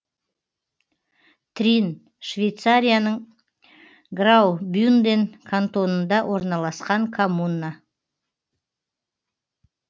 трин швейцарияның граубюнден кантонында орналасқан коммуна